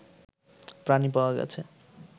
প্রাণী পাওয়া গেছে